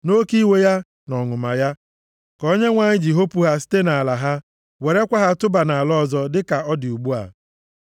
Nʼoke iwe ya na ọnụma ya ka Onyenwe anyị ji hopu ha site nʼala ha, werekwa ha tụba nʼala ọzọ, dịka ọ dị ugbu a.”